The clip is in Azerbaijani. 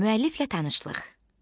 Müəlliflə tanışlıq.